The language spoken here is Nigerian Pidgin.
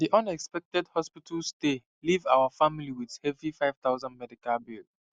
di unexpected hospital stay leave our family with heavy 5000 medical bill